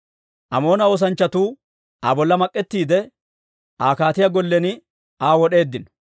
Amoona oosanchchatuu Aa bolla mak'ettiide, Aa kaatiyaa gollen Aa wod'eeddino.